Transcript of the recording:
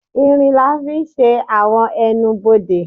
ìrín lá fí sé awọn ẹ́nubọdè